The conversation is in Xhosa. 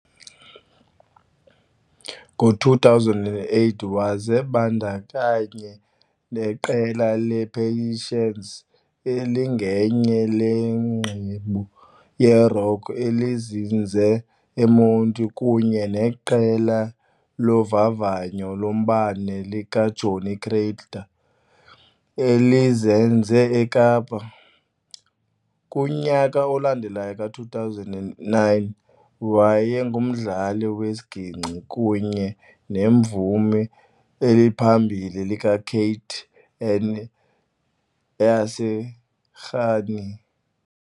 Ngo-2008, wazibandakanya neqela le-Patience elingenye le qembu yerock elizinze eMonti kunye neqela lovavanyo lombane likaJohnny Cradle elizinze eKapa. Kunyaka olandelayo ka-2009, wayengumdlali wesiginkci kunye nemvumi eliphambili likaKate and I yase Rhini.